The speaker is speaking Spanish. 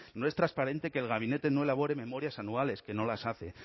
no es transparente que el gabinete no elabore memorias anuales que no las hace